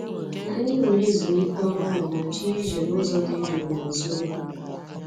Anyị were ezumike ọrụ ụlọ ma jee ije n'ụzọ dị jụụ n'azụ ugwu